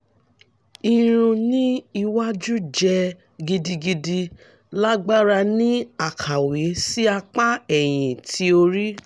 irun ni iwaju jẹ gidigidi lagbara ni akawe si apa ẹhin ti ori